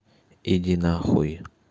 иди на хуй